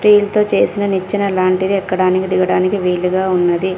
Steel తో చేసిన నిచ్చిన లాంటిది ఎక్కడానికి దిగడానికి వీలుగా ఉన్నది.